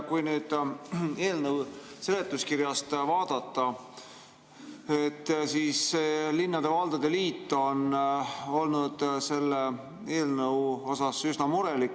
Kui eelnõu seletuskirja vaadata, siis on näha, et linnade ja valdade liit on olnud selle eelnõu tõttu üsna murelik.